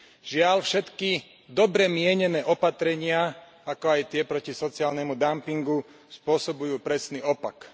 Žiaľ, všetky dobre mienené opatrenia, ako aj tie proti sociálnemu dampingu spôsobujú presný opak.